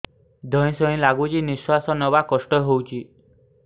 ଧଇଁ ସଇଁ ଲାଗୁଛି ନିଃଶ୍ୱାସ ନବା କଷ୍ଟ ହଉଚି